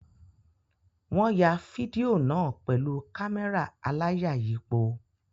Wọ́n ya fídíò náà pẹ̀lú kámẹ́rà aláyàyípo.